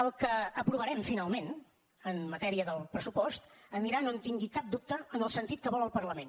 el que aprovarem finalment en matèria del pressupost anirà no en tingui cap dubte en el sentit que vol el parlament